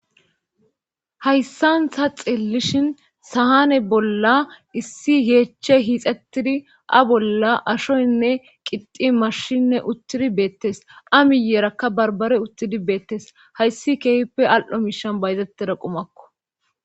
hayssanta xillishin sahane bolla issi yeechche hiixettidi a bolla ashoynne qixi marshinne uttidi beettes a miyeerakka barbare uttidi beettes hayssi keefppe al7o miishan bayzetteda qumakko